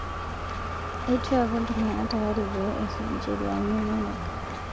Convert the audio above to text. Eitu eeku ltung'ana tayari pee esuj ncheriaani enyenak